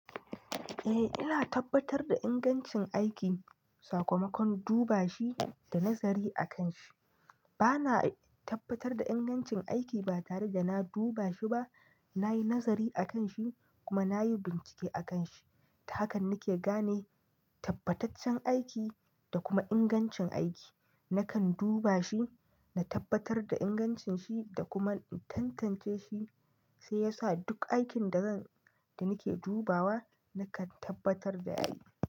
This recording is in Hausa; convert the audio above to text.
Eh, ina tabbatar da ingancin aiki sakamakon duba shi da nazari akan shi. Bana tabbatar da ingancin aiki ba tare da na duba shi ba, na yi nazari akan shi kuma na yi bincike akan shi. Ta haka nake gane tabbataccen aiki da kuma ingancin aiki. Nakan duba shi, na tabbatar da ingancin shi da kuma in tantance shi shi ya sa duk aikin da zan, da nake dubawa nakan tabbatar da yayi.